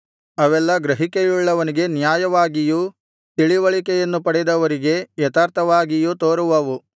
ಅವೆಲ್ಲಾ ಗ್ರಹಿಕೆಯುಳ್ಳವನಿಗೆ ನ್ಯಾಯವಾಗಿಯೂ ತಿಳಿವಳಿಕೆಯನ್ನು ಪಡೆದವರಿಗೆ ಯಥಾರ್ಥವಾಗಿಯೂ ತೋರುವವು